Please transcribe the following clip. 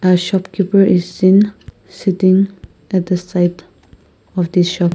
shopkeeper is in sitting at the site of the shop.